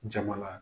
Jamana